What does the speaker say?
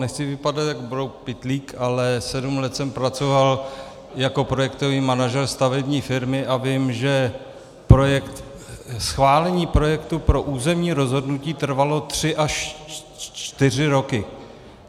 Nechci vypadat jako brouk Pytlík, ale sedm let jsem pracoval jako projektový manažer stavební firmy a vím, že schválení projektu pro územní rozhodnutí trvalo tři až čtyři roky.